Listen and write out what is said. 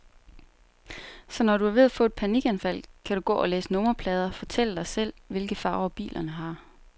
Så når du er ved at få et panikanfald, kan du gå og læse nummerplader, fortælle dig selv, hvilke farver bilerne har.